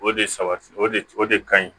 O de sabati o de o de kaɲi